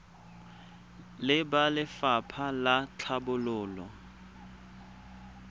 le ba lefapha la tlhabololo